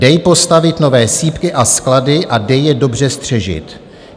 Dej postavit nové sýpky a sklady a dej je dobře střežit.